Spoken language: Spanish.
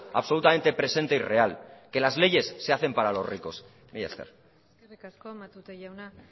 absolutamente presente y real que las leyes se hacen para los ricos mila esker eskerrik asko matute jauna